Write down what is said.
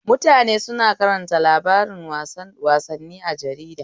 Mutane suna karanta labaran wassani a jarida.